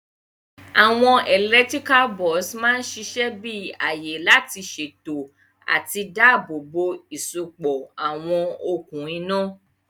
Àwon electrical box ma sisẹ bi àyè lá sèto àti dáàbò bò ìsopọ̀ àwon okùn iná